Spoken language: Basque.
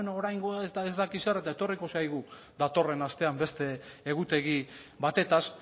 bueno oraingoa eta ez dakit zer eta etorriko zaigu datorren astean beste egutegi batetaz